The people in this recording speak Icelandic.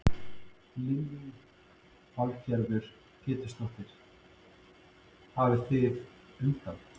Lillý Valgerður Pétursdóttir: Hafið þið undan?